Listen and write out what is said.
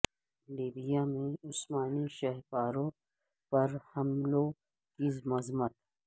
Libya میں عثمانی شہہ پاروں پر حملوں کی مذمت